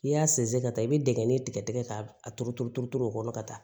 N'i y'a sinsin ka taa i be digɛn in tigɛ tigɛ tigɛ k'a turu turu turu turu o kɔnɔ ka taa